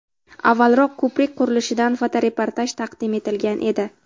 Avvalroq ko‘prik qurilishidan fotoreportaj taqdim etilgan edi.